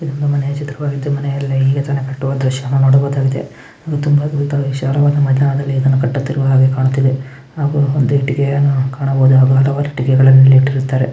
ಇದು ಒಂದು ಮನೆಯ ಚಿತ್ರವಾಗಿದ್ದು ಮನೆ ಕಟ್ಟುವ ದೃಶ್ಯವನ್ನು ನೋಡಬಹುದಾಗಿದೆ ಅದು ತುಂಬಾ ವಿಚಾರವಾದ ಮನೆ ಇದನ್ನು ಕಟ್ಟುತ್ತಿರುವ ಹಾಗೆ ಕಾಣುತ್ತಿದೆ ಹಾಗು ಒಂದು ಇಟ್ಟಿಗೆಯನ್ನು ಕಾಣಬಹುದು ಅಗಾದವಾದ ಇಟ್ಟಿಗೆಯನ್ನು ಇಲ್ಲಿ ಇಟ್ಟಿರ್ತಾರೆ.